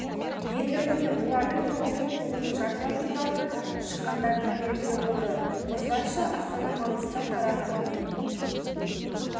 енді міне олардың тобы мен тобының жартылай финалына шыққандары белгілі болды осылайша астана маңғыстау қарағанды мен